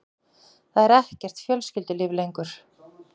Það er ekkert fjölskyldulíf lengur.